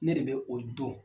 Ne de bɛ o dɔn.